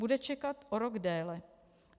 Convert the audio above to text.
Bude čekat o rok déle.